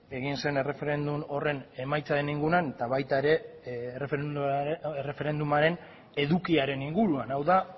egin zen erreferendum horren emaitzaren inguruan eta baita ere erreferendumaren edukiaren inguruan hau da